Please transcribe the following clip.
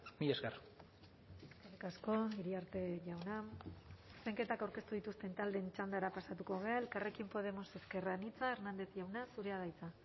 mila esker eskerrik asko iriarte jauna zuzenketak aurkeztu dituzten taldeen txandara pasatuko gara elkarrekin podemos ezker anitza hernández jauna zurea da hitza